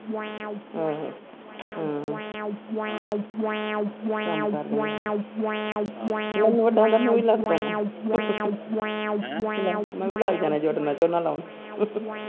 ਹਮ ਹਮ ਕੰਮ ਕਾਰ ਮੈਨੂੰ ਵੱਡਾ ਆਂਦਾ ਤੂੰ ਵੀ ਲੱਗ ਪਾ ਮੈਂ ਵੀ ਲੱਗ ਜਾਣਾ ਨਾਲ ਝੋਨਾ ਲਾਉਣ .